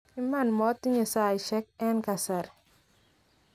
iman motinye saisiek en kasari